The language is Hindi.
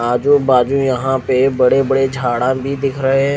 आजू बाजू यहाँ पे बड़े बड़े झाडा भी दिख रहे है।